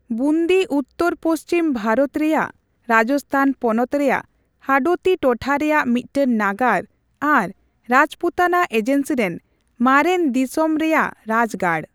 ᱵᱩᱱᱫᱤ ᱩᱛᱛᱚᱨᱼ ᱯᱚᱷᱪᱤᱢ ᱵᱷᱟᱨᱚᱛ ᱨᱮᱭᱟᱜ ᱨᱟᱡᱚᱥᱛᱷᱟᱱ ᱯᱚᱱᱚᱛ ᱨᱮᱭᱟᱜ ᱦᱟᱰᱳᱛᱤ ᱴᱚᱴᱷᱟ ᱨᱮᱭᱟᱜ ᱢᱤᱫᱴᱟᱝ ᱱᱟᱜᱟᱨ ᱟᱨ ᱨᱟᱡᱽᱯᱩᱛᱚᱱᱟ ᱮᱡᱮᱱᱥᱤᱨᱮᱱ ᱢᱟᱨᱮᱱ ᱫᱤᱥᱚᱢ ᱨᱮᱭᱟᱜᱨᱟᱡᱽᱜᱟᱲ ᱾